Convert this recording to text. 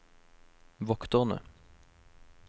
vokterne